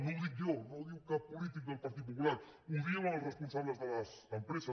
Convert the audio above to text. no ho dic jo no ho diu cap polític del partit popular ho diuen els responsables de les empreses